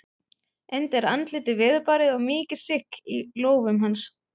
Enda er andlitið veðurbarið og mikið sigg í lófum hans.